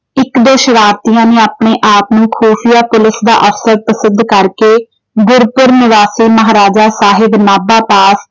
ਇੱਕ ਦੋ ਸ਼ਰਾਰਤੀਆਂ ਨੇ ਆਪਣੇ ਆਪ ਨੂੰ ਖੁੂਫ਼ੀਆ ਪੁਲਿਸ ਦਾ ਅਫ਼ਸਰ ਸਿੱਧ ਕਰਕੇ ਗੁਰਪੁਰ ਨਿਵਾਸੀ ਮਹਾਰਾਜਾ ਸਾਹਿਬ ਨਾਭਾ ਦਾ